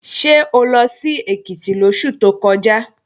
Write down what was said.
Ṣé o lọ sí Èkìtì lóṣù tó kọjá?